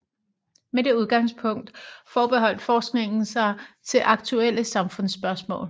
Med det udgangspunkt forholdt forskningen sig til aktuelle samfundsspørgsmål